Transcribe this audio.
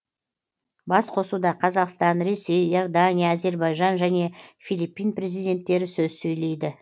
басқосуда қазақстан ресей иордания әзербайжан және филиппин президенттері сөз сөйлейді